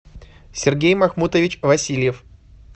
сергей махмутович васильев